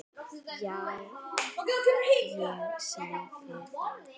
Já, ég sagði það.